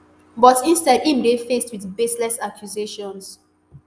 but instead im dey faced wit baseless accusations